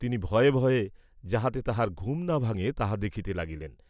তিনি ভয়ে ভয়ে যাহাতে তাহার ঘুম না ভাঙ্গে তাহা দেখিতে লাগিলেন।